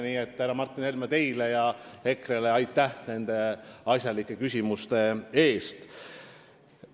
Nii et aitäh teile, härra Martin Helme, ja EKRE-le nende asjalike küsimuste eest!